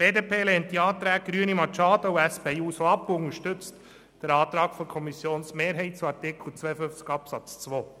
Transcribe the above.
Die BDP lehnt die Anträge Machado und SP-JUSOPSA ab und unterstützt den Antrag der Kommissionsmehrheit zu Artikel 52 Absatz 2.